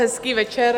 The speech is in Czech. Hezký večer.